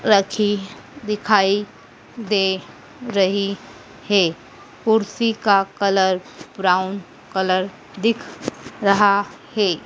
रखी दिखाई दे रही है कुर्सी का कलर ब्राउन कलर दिख रहा है।